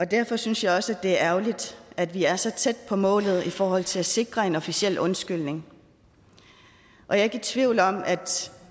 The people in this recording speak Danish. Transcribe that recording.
derfor synes jeg også det er ærgerligt at vi er så tæt på målet i forhold til at sikre en officiel undskyldning jeg er ikke i tvivl om at